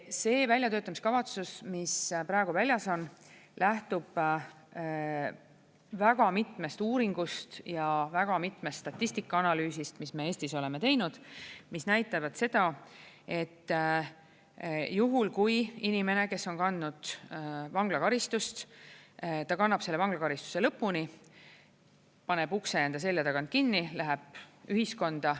See väljatöötamiskavatsus, mis praegu väljas on, lähtub väga mitmest uuringust ja väga mitmest statistikaanalüüsist, mis me Eestis oleme teinud, mis näitavad seda, et juhul, kui inimene, kes on kandnud vanglakaristust ja ta kannab selle vanglakaristuse lõpuni, paneb ukse enda selja tagant kinni, läheb ühiskonda.